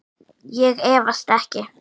Ég efast ekki.